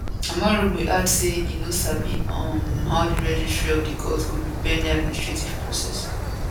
omorogbe add say e no sabi um how di registry of di court go prepare any administrative process